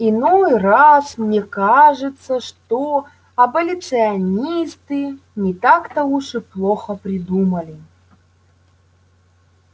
иной раз мне кажется что аболиционисты не так-то уж и плохо придумали